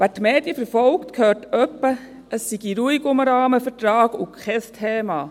Wer die Medien verfolgt, hört etwa, es sei ruhig um den Rahmenvertrag und kein Thema.